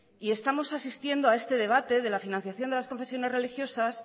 y estamos asistiendo a este debate de la financiación de las confesiones religiosas